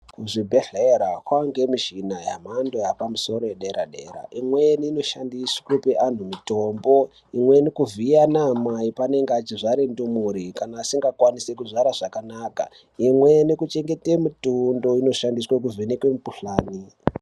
Kuzvibhedhlera kwava nemichina yemhando yepamusoro yedera dera imweni inoshandiswa kupe antu mitombo imweni kuvhiya anamai pavanenge vechizvara ndumure kana vasingakwanise kuzvara zvakanaka imweni kuchengete mutundo inoshandiswe kuvhenaka mukuhlani.